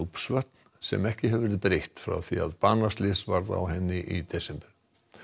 Núpsvötn sem ekki hefur verið breytt frá því að banaslys varð á henni í desember